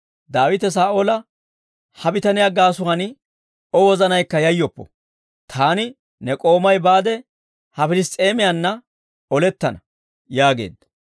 Daawite Saa'oola, «Ha bitaniyaa gaasuwaan O wozanaykka yayoppo; taani ne k'oomay baade, ha Piliss's'eemiyanna olettana» yaageedda.